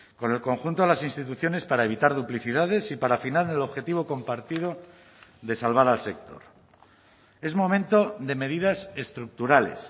con el conjunto de las instituciones para evitar duplicidades y para afinar el objetivo compartido de salvar al sector es momento de medidas estructurales